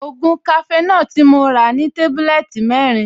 Ògùn cafenor tí mo rà ní tébúlẹ́ẹ̀tì mẹ́rin